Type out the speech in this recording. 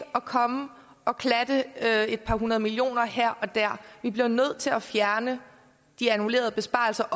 at komme og klatte et par hundrede millioner af her og der vi bliver nødt til at fjerne de besparelser